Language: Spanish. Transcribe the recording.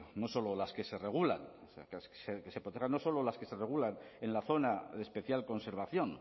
no solo las que se regulan que se protejan no solo las que se regulan en la zona de especial conservación